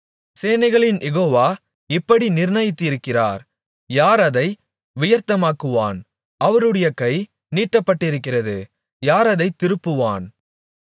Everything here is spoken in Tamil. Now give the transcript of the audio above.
சேனைகளின் யெகோவா இப்படி நிர்ணயித்திருக்கிறார் யார் அதை வியர்த்தமாக்குவான் அவருடைய கை நீட்டப்பட்டிருக்கிறது யார் அதைத் திருப்புவான்